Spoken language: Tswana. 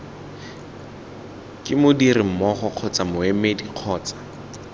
ke modirimmogo kgotsa moemedi kgotsa